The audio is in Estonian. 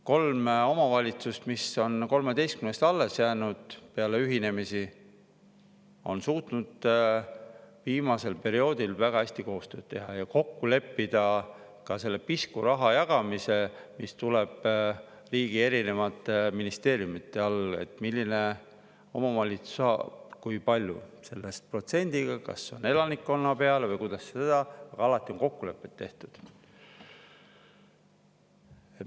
Kolm omavalitsust, mis on peale ühinemisi 13‑st alles jäänud, on suutnud viimasel perioodil väga hästi koostööd teha ja kokku leppida ka selle pisku raha jagamise, mis tuleb riigilt erinevate ministeeriumide kaudu, et milline omavalitsus kui palju sellest saab, millise protsendiga, kas elanikkonna peale või kuidas seda, aga alati on kokkulepped tehtud.